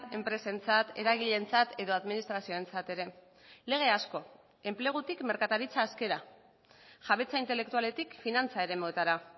enpresentzat eragileentzat edo administrazioentzat ere lege asko enplegutik merkataritza askera jabetza intelektualetik finantza eremuetara